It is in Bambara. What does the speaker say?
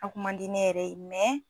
A kun man di ne yɛrɛ ye